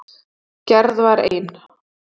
Gerð var ein.